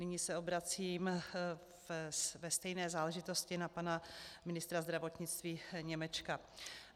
Nyní se obracím ve stejné záležitosti na pana ministra zdravotnictví Němečka.